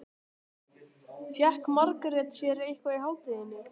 Fékk Margrét sér eitthvað í hádeginu?